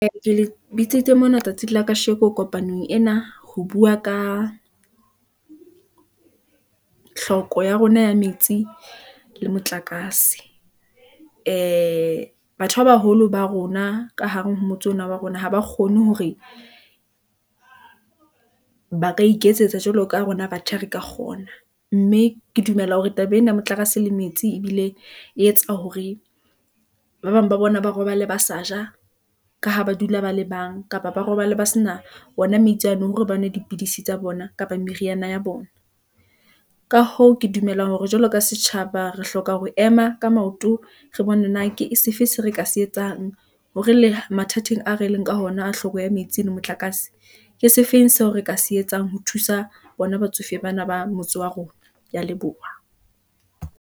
Ee, ke le bitsitse mona tsatsi la ka sheko ko panong ena, ho bua ka hloko ya rona ya metsi le motlakase . Ee batho ba baholo ba rona, ka hare motse ona wa rona, ha ba kgone hore ba ka iketsetsa jwalo ka rona, batjha re ka kgona. Mme ke dumela hore taba ena motlakase le metsi, ebile e etsa hore ba bang ba bona ba robala ba sa ja , ka ha ba dula ba le bang, kapa ba robale ba sena ona metsi ano, hore ba nwe dipidisi tsa bona, kapa meriana ya bona . Ka hoo, ke dumela hore jwalo ka setjhaba, re hloka ho ema ka maoto , re bone na ke sefe se re ka se etsang , hore le mathateng a re leng ka hona, a hloko ya metsi le motlakase . Ke sefeng seo re ka se etsang, ho thusa bona batsofe bana ba motse wa rona, ke ya leboha.